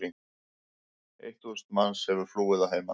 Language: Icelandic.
Eitt þúsund manns hefur flúið að heiman.